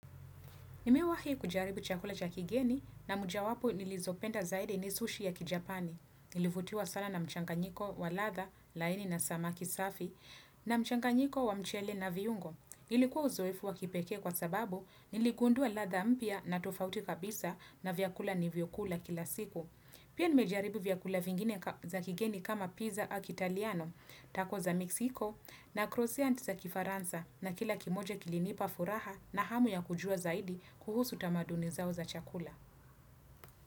Nimewahi kujaribu chakula cha kigeni na moja wapo nilizopenda zaidi ni sushi ya kijapani. Nilivutiwa sana na mchanganyiko wa ladha, laini na samaki safi, na mchanganyiko wa mchele na viungo. Ilikuwa uzoefu wa kipekee kwa sababu niligundua ladha mpya na tofauti kabisa na vyakula nilivyokula kila siku. Pia nimejaribu vyakula vingine za kigeni kama pizza a kitaliano, tako za Mexico, na krosianti za kifaransa na kila kimoja kilinipa furaha na hamu ya kujua zaidi kuhusu tamaduni zao za chakula.